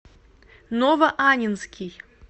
новоаннинский